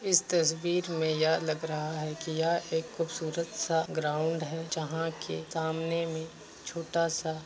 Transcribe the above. इस तस्वीर में यह लग रहा है कि यहां एक खूबसूरत सा ग्राउंड है जहां के सामने में छोटा सा --